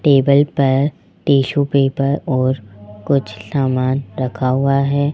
Table पर tissue paper और कुछ सामान रखा हुआ है।